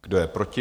Kdo je proti?